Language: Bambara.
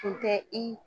Tun tɛ i